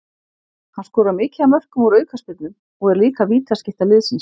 Hann skorar mikið af mörkum úr aukaspyrnum og er líka vítaskytta liðsins.